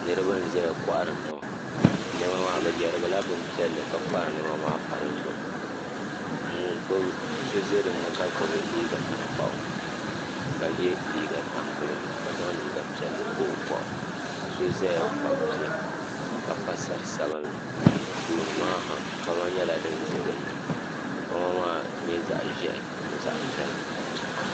Niriba n zaya kohari niɛma niɛma maa bɛ yerigila bin piɛlli ka kpaagi niɛma maa pa dizuɣu so za dinni ka gbibi liiga tankpaɣu ka ye liiga tampilim ka zaŋ liiga piɛlli pa o boɣu ka so zaya kpabi bia ka pa sari sabinli tooni maa ha kpama nyɛla dinza dinni kpama maa nyɛ zaɣa ʒehi zaɣa piɛla.